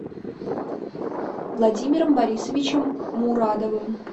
владимиром борисовичем мурадовым